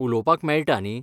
उलोवपाक मेळटा न्ही?